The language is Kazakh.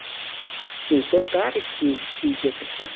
сөйтіп бәрі киіз үйге кірді